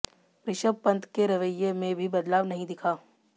ऋषभ पंत के रवैये में भी बदलाव नहीं दिखा